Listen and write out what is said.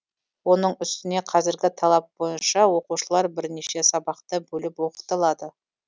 оның үстіне қазіргі талап бойынша оқушылар бірнеше сабақта бөліп оқытылады